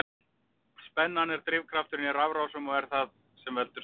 Spennan er drifkrafturinn í rafrásum og er það sem veldur straum.